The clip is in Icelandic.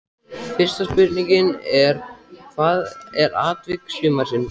Fyrsta spurningin er: Hvað er atvik sumarsins?